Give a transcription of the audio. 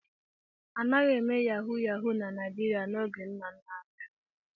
A naghị eme Yahu Yahu na Naịjịrịa n'oge nna nna anyị ha.